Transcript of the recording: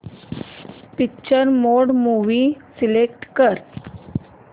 picture mode movie select कर